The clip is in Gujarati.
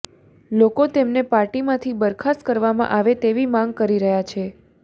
લોકો તેમને પાર્ટીમાંથી બરખાસ્ત કરવામાં આવે તેવી માંગ કરી રહ્યાં છે